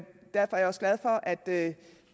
også glad for at